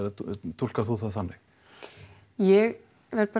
túlkar þú það þannig ég verð bara